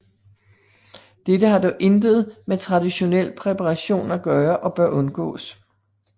Dette har dog intet med traditionel præparation at gøre og bør undgås